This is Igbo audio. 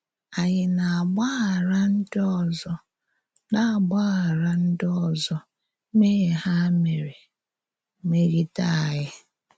Ànyí na-àgbàghàrà ǹdí òzò na-àgbàghàrà ǹdí òzò mmèhìe hà mèrè mé̄gìdè ányị?